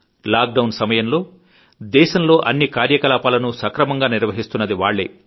lock down సమయంలో దేశంలో అన్ని కార్యకలాపాలను సక్రమంగా నిర్వహిస్తున్నది వాళ్లే